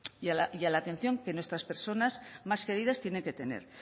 y a la atención que nuestras personas más queridas tienen que tener